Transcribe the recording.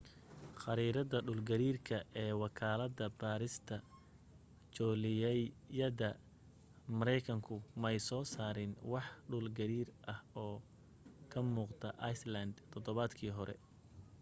khariirada dhul gariirka ee wakaalada baarista joolajyada markaykanku may soo saarin wax dhul gariir ah oo ka muuqda iceland todobaadkii hore